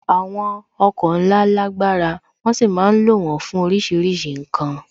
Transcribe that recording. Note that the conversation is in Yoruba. Àwọn ọkọ̀ ńlá lágbára, wón sì ma ń lo wón fún oríṣiríṣi ǹkan